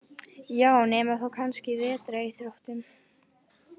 Já, nema þá kannski vetraríþróttum.